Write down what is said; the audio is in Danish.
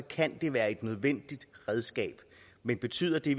kan det være et nødvendigt redskab men betyder det